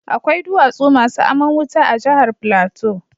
Akwai duwatsu masu aman wuta a jahar Plateau.